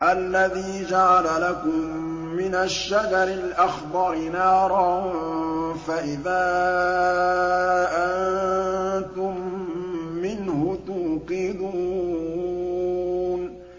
الَّذِي جَعَلَ لَكُم مِّنَ الشَّجَرِ الْأَخْضَرِ نَارًا فَإِذَا أَنتُم مِّنْهُ تُوقِدُونَ